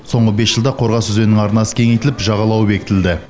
соңғы бес жылда қорғас өзенінің арнасы кеңейтіліп жағалауы бекітілді